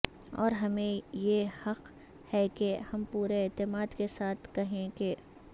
اور ہمیں یی حق ہے کہ ہم پورے اعتماد کے ساتھ کہیں کہ